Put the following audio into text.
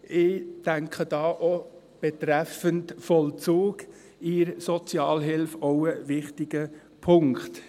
Ich denke da auch, betreffend Vollzug in der Sozialhilfe ist dies ebenfalls ein wichtiger Punkt.